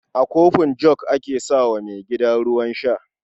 A kofin jug ake sa wa maigida ruwan sha.